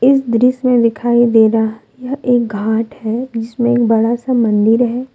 इस दृश्य में दिखाई दे रहा है यह एक घाट है जिसमें बड़ा सा मंदिर है।